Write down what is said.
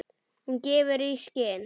Hún gefur í skyn.